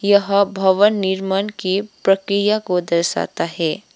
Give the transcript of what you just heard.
यह भवन निर्माण के प्रक्रिया को दर्शाता है।